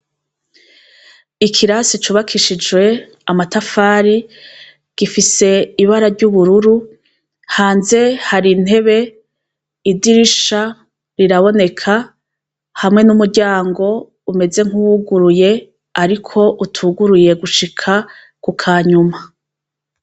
Ikirasi cubakishijwe amatafari gifise ibara ry'ubururu hanze hari ntebe idirisha riraboneka hamwe n'umuryango umeze nk'uwuguruye, ariko utuguruye gushika ku ka nyuma.